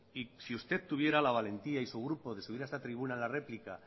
y si usted tendría la valentía y su grupo de subir a esta tribuna la réplica